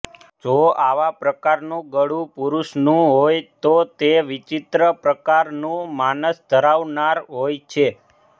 જો આવા પ્રકારનું ગળું પુરુષનું હોય તો તે વિચિત્ર પ્રકારનું માનસ ધરાવનાર હોય છે